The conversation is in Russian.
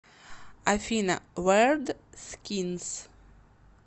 афина вэрд скинс